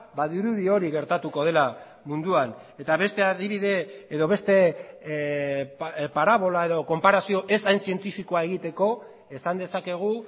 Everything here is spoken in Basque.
badirudi hori gertatuko dela munduan eta beste adibide edo beste parabola edo konparazio ez hain zientifikoa egiteko esan dezakegu